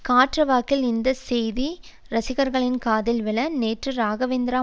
காற்று வாக்கில் இந்த செய்தி ரசிகர்களின் காதில் விழ நேற்று ராகவேந்திரா